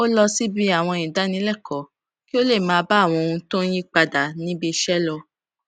ó lọ síbi àwọn ìdánilékòó kí ó lè máa bá àwọn ohun tó ń yí padà níbi iṣé lọ